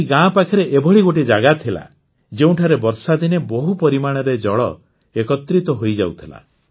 ଏହା ଗାଁ ପାଖରେ ଏଭଳି ଗୋଟିଏ ଜାଗା ଥିଲା ଯେଉଁଠାରେ ବର୍ଷାଦିନେ ବହୁ ପରିମାଣରେ ଜଳ ଏକତ୍ରିତ ହୋଇଯାଉଥିଲା